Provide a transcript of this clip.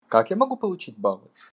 как я могу получить баллы